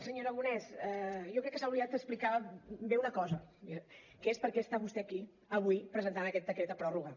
senyor aragonès jo crec que s’ha oblidat d’explicar bé una cosa que és per què està vostè aquí avui presentant aquest decret de pròrroga